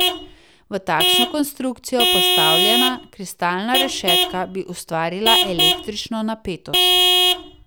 V takšno konstrukcijo postavljena kristalna rešetka, bi ustvarila električno napetost.